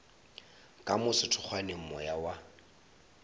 ka mo sethokgweng moya wa